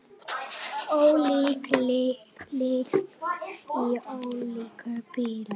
Ólík lykt í ólíkum bílum!